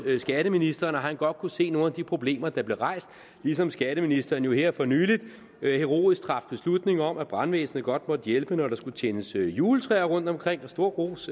skatteministeren og at han godt kunne se nogle af de problemer der blev rejst ligesom skatteministeren her for nylig heroisk traf beslutning om at brandvæsenet godt måtte hjælpe når der skulle tændes juletræer rundtomkring og stor ros